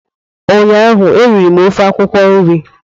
ụnyaahụ eriri m ofe akwụkwọ nri